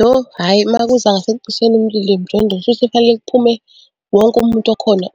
Lo hhayi uma kuza ngasekucisheni umlilo emjondolo kushuthi kufanele kuphume wonke umuntu okhona